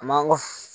A man gosi